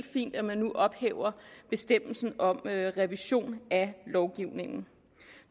fint at man nu ophæver bestemmelsen om revision af lovgivningen